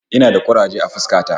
Ina da kuraje a fuska ta